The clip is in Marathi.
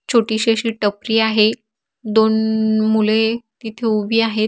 छोटी शी अशी टपरी आहे. दोन मुले तिथे उभी आहेत.